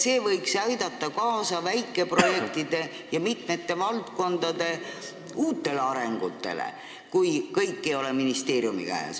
See võiks aidata kaasa väikeprojektidele ja mitme valdkonna uutele arengutele, kui kõik ei ole ainult ministeeriumi käes.